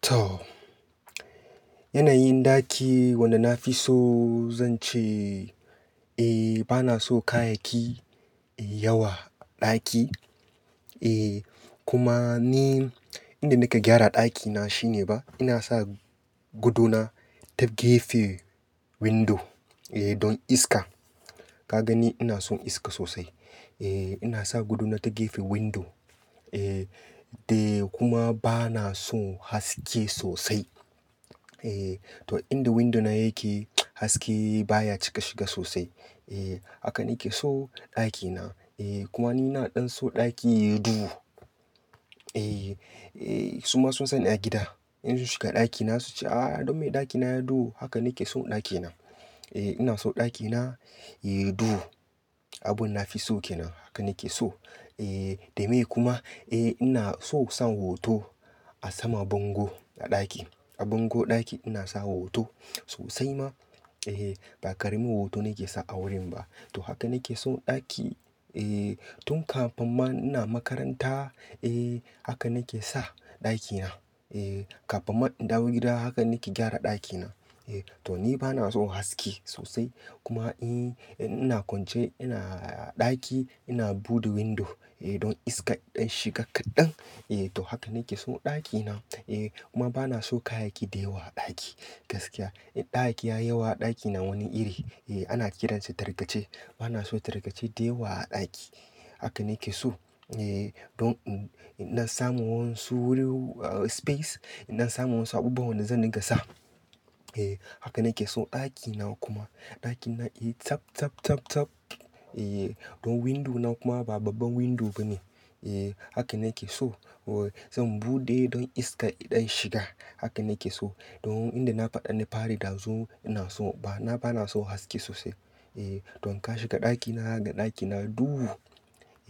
To, yanayin ɗaki wanda na fi so zan ce, eh bana so kayayyaki yayi yawa a ɗaki. Eh kuma ni yanda nake gyara ɗakina shine ba, ina sa gadona ta gefe window don iska. Ka gani ina son iska sosai. Eh ina sa gadona ta gefen window. Eh da kuma bana son haske sosai. Eh to inda window na yake haske baya cika shiga sosai. Eh haka nake so ɗakina. Eh kuma ina na ɗan so ɗaki yayi duhu. Eh suma sun san ni a gida in su shiga ɗakina suce, "ah don me ɗakina yayi duhu", haka nake so ɗakina. Eh ina so ɗakina yayi duhu. Abun nafi so kenan. Haka nake so. Eh, da me kuma, eh ina so san hoto a sama bango a ɗaki. A bango ɗaki ina sawa hoto sosai ma. Eh ba ƙaramin hoto nake sa a wurin ba. To haka nake so ɗaki, eh tun kafin ma ina makaranta. Eh haka nake sa ɗakina. Eh kafin ma in dawo gida haka nake gyara ɗakina. Eh to ni bana son haske sosai. Kuma in, ina kwance ina ɗaki ina buɗe window don iska ya ɗan shiga kaɗan. Eh to haka nake so ɗakina. Eh kuma bana so kayayyaki dayawa a ɗaki gaskiya. In kayayyaki yayi yawa ɗaki na wani iri, eh ana kiransa tarkace. Bana so tarkace dayawa a ɗaki. Haka nake so. Eh don in, in ɗan samu waƴansu, ah space, in ɗan samu wasu abubuwan wanda zan dinga gasa. Eh haka nake so ɗakina kuma ɗakina iyi tsap, tsap, tsap, tsap. Eh don window na kuma ba babban window bane. Eh haka nake so. Zan buɗe don iska iɗan shiga. Haka nake so. Don inda na faɗa na pari ɗazu ina so ba, na bana son haske sosai. Eh don in ka shiga ɗakina zaga ɗakina duhu.